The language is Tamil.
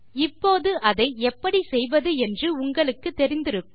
இப்போது அதை எப்படி செய்வது என்று உங்களுக்கு தெரிந்திருக்கும்